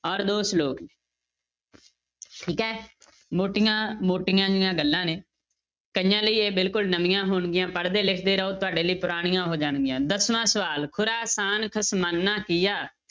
ਔਰ ਦੋ ਸਲੋਕ ਨੇ ਠੀਕ ਹੈ ਮੋਟੀਆਂ ਮੋਟੀਆਂ ਜਿਹੀਆਂ ਗੱਲਾਂ ਨੇ, ਕਈਆਂ ਲਈ ਇਹ ਬਿਲਕੁਲ ਨਵੀਆਂ ਹੋਣਗੀਆਂ ਪੜ੍ਹਦੇ ਲਿਖਦੇ ਰਹੋ, ਤੁਹਾਡੇ ਲਈ ਪੁਰਾਣੀਆਂ ਹੋ ਜਾਣਗੀਆਂ, ਦਸਵਾਂ ਸਵਾਲ ਖੁਰਾ ਖਾਨ ਖਸਮਾਨਾ ਕੀਆ